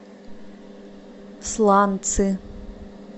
сланцы